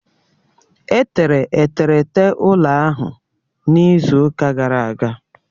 Etere eterete ụlọ ahụ n'izu ụka gara aga